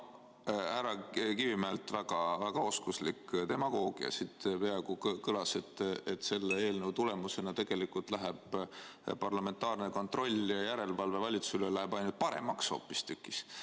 Härra Kivimäelt väga oskuslik demagoogia, siit peaaegu kõlas, et selle eelnõu tulemusena tegelikult läheb parlamentaarne kontroll ja järelevalve valitsusele aina paremaks hoopistükkis.